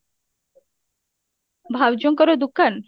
ଭାଉଜଙ୍କର ଦୁକାନ?